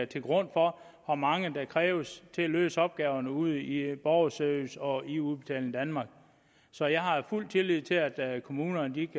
til grund for hvor mange der kræves til at løse opgaverne ude i borgerservice og i udbetaling danmark så jeg har fuld tillid til at at kommunerne